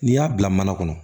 N'i y'a bila mana kɔnɔ